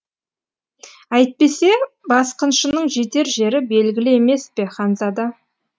әйтпесе басқыншының жетер жері белгілі емес пе ханзада